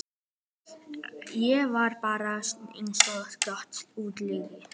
Ég var bara einsog Grettir útlagi.